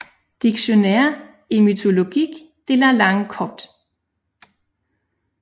Dictionnaire étymologique de la langue copte